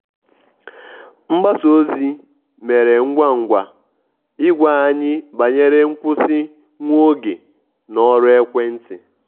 mgbasa ozi mere ngwa ngwa ịgwa anyị banyere nkwụsị nwa oge na ọrụ ekwentị.